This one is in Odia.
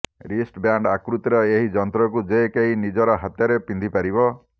ରିଷ୍ଟ୍ ବ୍ୟାଣ୍ଡ୍ ଆକୃତିର ଏହି ଯନ୍ତ୍ରକୁ ଯେ କେହି ନିଜ ହାତରେ ପିନ୍ଧିପାରିବ